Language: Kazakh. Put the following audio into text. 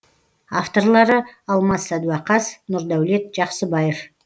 авторлары алмас садуақас нұрдәулет жақсыбаев